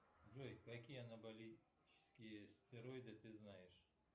джой какие анаболические стероиды ты знаешь